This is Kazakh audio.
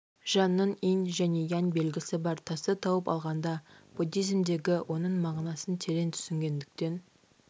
жанның инь және янь белгісі бар тасты тауып алғанда буддизмдегі оның мағынасын терең түсінгендіктен